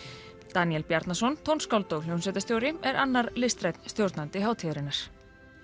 Daníel Bjarnason tónskáld og hljómsveitarstjóri er annar listrænn stjórnandi hátíðarinnar